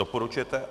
Doporučujete?